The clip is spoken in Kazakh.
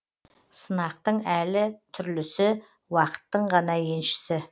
сынақтың әлі түрлісі уақыттың ғана еншісі